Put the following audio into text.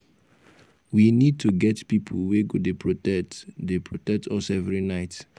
we need to get people wey go dey protect dey protect us every night